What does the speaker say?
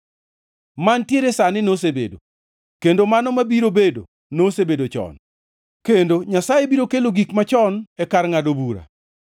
Mantiere sani nosebedo, kendo mano mabiro bedo nosebedo chon; kendo Nyasaye biro kelo gik machon e kar ngʼado bura.